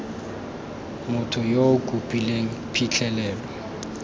motho yo o kopileng phitlhelelo